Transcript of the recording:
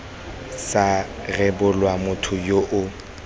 sa rebolwa motho yo o